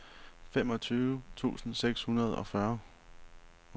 femogtyve tusind seks hundrede og fyrre